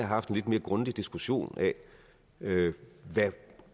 haft en lidt mere grundig diskussion af hvad